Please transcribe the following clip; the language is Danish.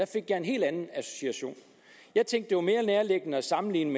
fik jeg en helt anden association jeg tænkte det var mere nærliggende at sammenligne